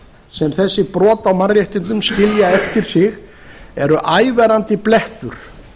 sem þessi brot á mannréttindum skilja eftir sig eru ævarandi blettur